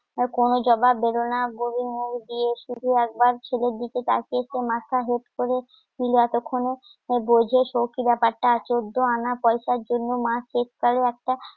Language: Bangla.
আর কোনো জবাব দিলো না বুরির মুখ দিয়ে শুধু একবার ছেলের দিকে তাকিয়ে একটু মাথা হেট করে এতক্ষনে বোঝে সৌখি ব্যাপারটা, চোদ্দো আনা পয়সার জন্য, মা শেষকালে একটা